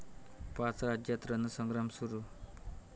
पाच राज्यांत रणसंग्राम सुरू